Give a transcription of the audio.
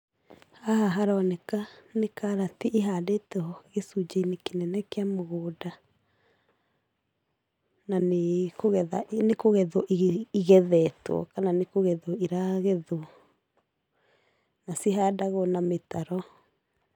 Haha haroneka nĩ karati ĩhandĩtwo gĩcunjĩ-inĩ kĩnene kĩa mũgũnda, na nĩ kũgetha, nĩ kũgethwo igethetwo kana kugethwo iragethwo, na cihandagwo na mĩtaro.